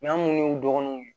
N'an munnu y'u dɔgɔninw ye